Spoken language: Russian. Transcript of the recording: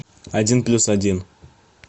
один плюс один